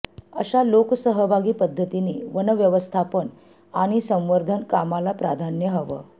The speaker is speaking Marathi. अशा लोकसहभागी पद्धतीने वनव्यवस्थापन आणि संवर्धन कामाला प्राधान्य हवं